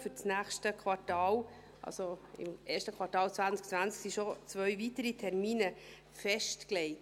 Für das nächste Quartal, also das erste Quartal 2020, sind schon zwei weitere Termine festgelegt.